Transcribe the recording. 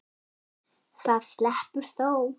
Það sleppur þó.